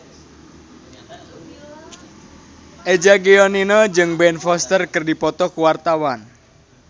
Eza Gionino jeung Ben Foster keur dipoto ku wartawan